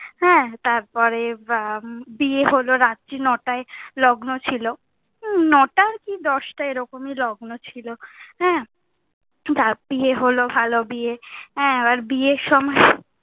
হ্যাঁ, তার পরে বিয়ে হলো রাত্রি নটায়ে লগ্ন ছিলো, নটার কি দশটা এরকমই লগ্ন ছিলো। হ্যাঁ, তার বিয়ে হলো ভালো বিয়ে। হ্যাঁ, আর বিয়ের সময়,